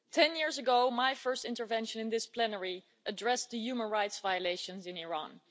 Ten years ago, my first intervention in this plenary addressed the human rights violations in Iran.